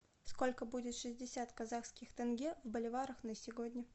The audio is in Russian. сколько будет шестьдесят казахских тенге в боливарах на сегодня